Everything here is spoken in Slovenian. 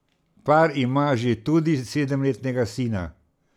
Par ima že tudi sedemletnega sina.